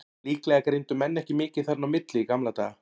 Líklega greindu menn ekki mikið þarna á milli í gamla daga.